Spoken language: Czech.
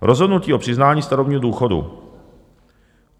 Rozhodnutí o přiznání starobního důchodu.